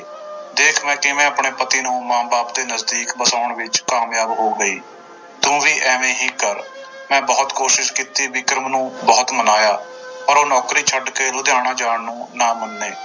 ਦੇਖ ਮੈਂ ਕਿਵੇਂ ਆਪਣੇ ਪਤੀ ਨੂੰ ਮਾਂ ਬਾਪ ਦੇ ਨਜ਼ਦੀਕ ਵਸਾਉਣ ਵਿੱਚ ਕਾਮਯਾਬ ਹੋ ਗਈ, ਤੂੰ ਵੀ ਇਵੇਂ ਹੀ ਕਰ ਮੈਂ ਕੋਸ਼ਿਸ਼ ਕੀਤੀ ਵਿਕਰਮ ਨੂੰ ਬਹੁਤ ਮਨਾਇਆ ਪਰ ਉਹ ਨੌਕਰੀ ਛੱਡ ਕੇ ਲੁਧਿਆਣੇ ਜਾਣ ਨੂੰ ਨਾ ਮੰਨੇ।